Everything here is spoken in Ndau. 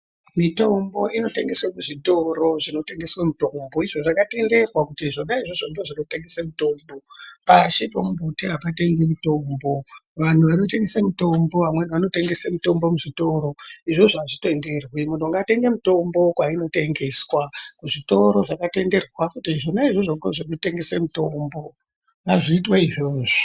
Mitombo inotengeswa kuzvitoro zvinotengeswe mitombo, izvo zvakatenderwa kuti zvona izvozvo ndizvo zvinotengese mitombo. Pashi pomumbuti hapatengwi mutombo. Vantu vanotengese mitombo, vamweni vanotengesa muzvitoro. Izvozvo hazvitenderwi, muntu ngaatenge mutombo kwainotengeswa, kuzvitoro zvakatenderwa kuti zvona izvozvo ngezvekutengese mitombo, ngazviitwe izvozvo.